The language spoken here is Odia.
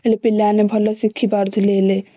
ହେଲେ ପିଲା ମାନେ ଭଲ ଶିଖି ପାରୁଥିଲେ ହେଲେ